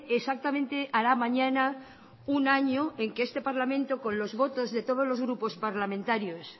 exactamente hará mañana un año en que este parlamento con los votos de todos los grupos parlamentarios